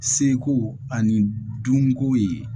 Seko ani dunko ye